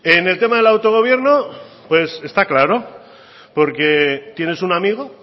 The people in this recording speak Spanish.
en el tema del autogobierno está claro porque tienes un amigo